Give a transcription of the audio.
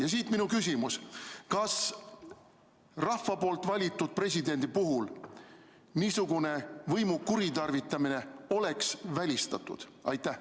Ja siit minu küsimus: kas rahva valitud presidendi puhul oleks niisugune võimu kuritarvitamine välistatud?